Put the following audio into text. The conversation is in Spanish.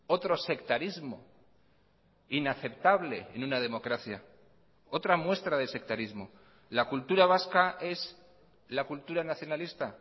otro sectarismo inaceptable en una democracia otra muestra de sectarismo la cultura vasca es la cultura nacionalista